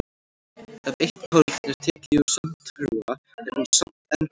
Ef eitt korn er tekið úr sandhrúga er hún samt enn hrúga.